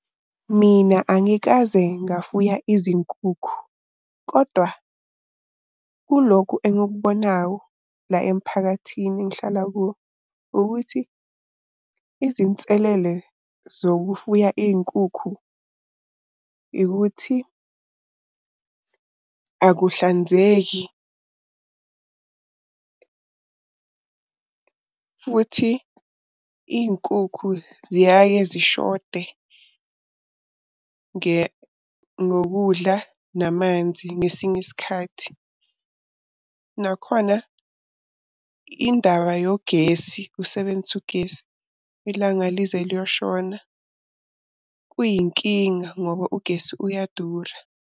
Mina angikaze ngafuya izinkukhu, kodwa kuloku engikubonawo la emphakathini engihlala kuwo ukuthi izinselele zokufuya iy'nkukhu ikuthi akuhlanzeki futhi iy'nkukhu ziyaye zishode ngokundla namanzi ngesinye isikhathi. Nakhona indaba yogesi, ukusebenzisa ugesi ilanga lize liyoshona, kuyinkinga ngoba ugesi uyadura.